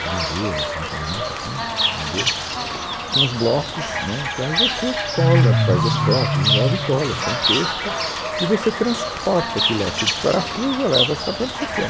de madeira, cimento amianto e, enfim, madeira, com os blocos, né, então você cola, faz as fotos, desenvolve e cola, põe texto e você transporta aquilo lá, você disparafusa, leva para onde você quer.